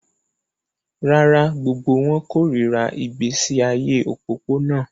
Rárá, gbogbo wọn kórìíra ìgbésí ayé òpópónà